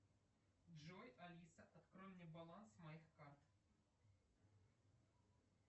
джой алиса открой мне баланс моих карт